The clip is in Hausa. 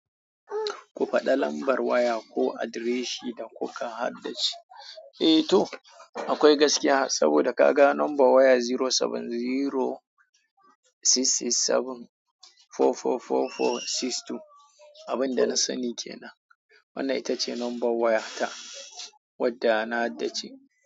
Ku faɗa lambar waya ko adireshin da kuka haddace. Eh to akwai gaskiya saboda ka ga number waya zero seven zero six six seven four four four four six two. Abin da na sani ke nan. Wannan ita ce number waya ta wadda na haddace.